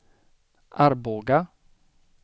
Arboga